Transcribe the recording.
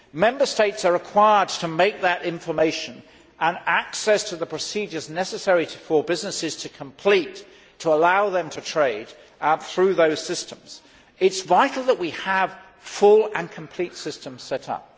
Member States are required to make that information and access to the procedures necessary for businesses to complete to allow them to trade through those systems. It is vital that we have full and complete systems set